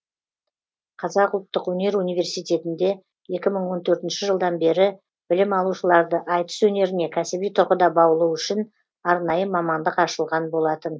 қазақ ұлттық өнер университетінде екі мың он төртінші жылдан бері білім алушыларды айтыс өнеріне кәсіби тұрғыда баулу үшін арнайы мамандық ашылған болатын